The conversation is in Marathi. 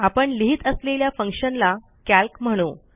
आपण लिहित असलेल्या फंक्शनला कॅल्क म्हणू